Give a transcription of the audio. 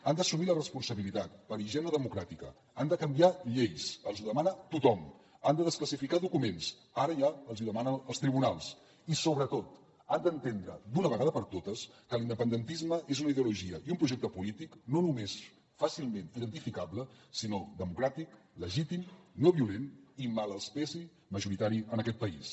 han d’assumir la responsabilitat per higiene democràtica han de canviar lleis els ho demana tothom han de desclassificar documents ara ja els ho demanen els tribunals i sobretot han d’entendre d’una vegada per totes que l’independentisme és una ideologia i un projecte polític no només fàcilment identificable sinó democràtic legítim no violent i mal els pesi majoritari en aquest país